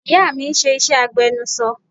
Ìyá mi ń ṣe iṣẹ́ agbẹnuṣọ